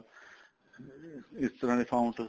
ਇਸ ਤਰ੍ਹਾਂ ਦੇ fonts